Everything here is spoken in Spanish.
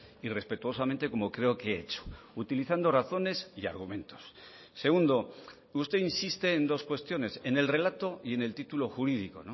y respetuosamente como creo que he hecho utilizando razones y argumentos segundo usted insiste en dos cuestiones en el relato y en el título jurídico